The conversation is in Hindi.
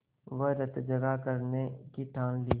वहीं रतजगा करने की ठान ली